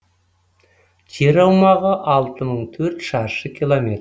жер аумағы алты мың төрт шаршы километр